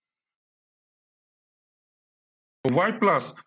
why plus